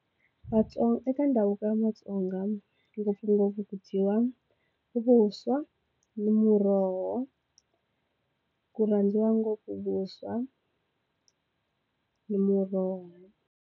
Vatsonga eka ndhavuko wa matsonga ngopfungopfu ku dyiwa vuswa ni muroho ku rhandziwa ngopfu vuswa ni muroho.